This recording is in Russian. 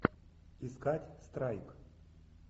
искать страйк